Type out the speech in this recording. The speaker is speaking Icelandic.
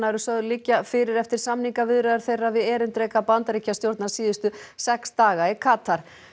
eru sögð liggja fyrir eftir samningaviðræður þeirra við erindreka Bandaríkjastjórnar síðustu sex daga í Katar